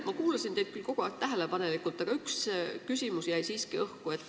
Ma kuulasin teid küll kogu aeg tähelepanelikult, aga üks küsimus jäi siiski õhku.